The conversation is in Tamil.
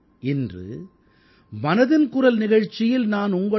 இன்று மனதின் குரல் நிகழ்ச்சியில் நான் உங்களுடன் ஒரு